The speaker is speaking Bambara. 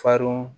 Fardun